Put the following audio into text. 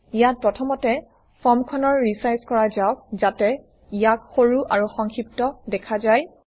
ইয়াত প্ৰথমতে ফৰ্মখনৰ ৰিচাইজ কৰা যাওক যাতে ইয়াক সৰু আৰু সংক্ষিপ্ত দেখা যায়